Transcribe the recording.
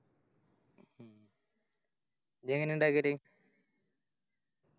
ഇജ്ജെങ്ങനെയാ ഇണ്ടാക്കല്